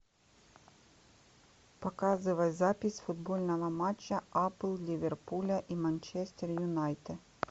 показывай запись футбольного матча апл ливерпуля и манчестер юнайтед